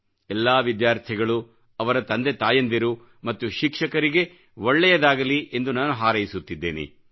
ಎಲ್ಲಾ ವಿದ್ಯಾರ್ಥಿಗಳು ಅವರ ತಂದೆ ತಾಯಂದಿರು ಮತ್ತು ಶಿಕ್ಷಕರಿಗೆ ಒಳ್ಳೆಯದಾಗಲಿ ಎಂದು ನಾನು ಹಾರೈಸುತ್ತಿದ್ದೇನೆ